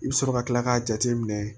I bɛ sɔrɔ ka kila k'a jateminɛ